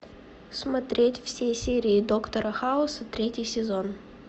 смотреть все серии доктора хауса третий сезон